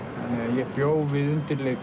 ég bjó við undirleik